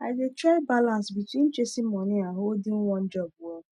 i dey try balance between chasing money and holding one job well